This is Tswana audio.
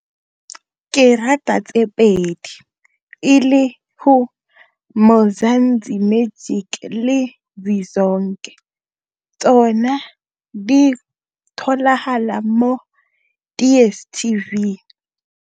Ke rata tse pedi e le go Mzanzi Magic le tsona di tholagala mo DStv.